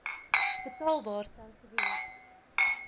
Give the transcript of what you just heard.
betaalbaar sou gewees